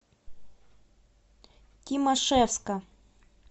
тимашевска